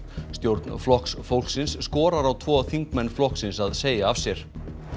stjórn Flokks fólksins skorar á tvo þingmenn flokksins að segja af sér